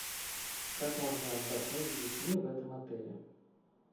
как можно отдохнуть с детьми в этом отеле